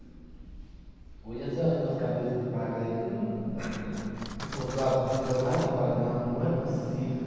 Hoje a senhora vê uns cabeças de bagre aí que não. Com contratos milionários, você fala, não, não é possível.